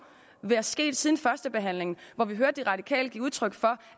være sket noget siden førstebehandlingen hvor vi hørte de radikale give udtryk for